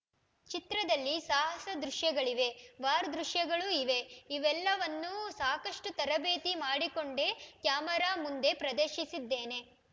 ಚಿತ್ರದಲ್ಲಿ ಸಾಹಸ ದೃಶ್ಯಗಳಿವೆ ವಾರ್ ದೃಶ್ಯಗಳೂ ಇವೆ ಇವೆಲ್ಲವನ್ನೂ ಸಾಕಷ್ಟುತರಬೇತಿ ಮಾಡಿಕೊಂಡೇ ಕ್ಯಾಮೆರಾ ಮುಂದೆ ಪ್ರದರ್ಶಿಸಿದ್ದೇನೆ